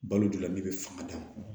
Balo donna min bɛ fanga d'a ma